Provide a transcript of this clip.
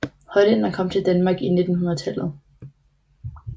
Hollænder kom til Danmark i 1900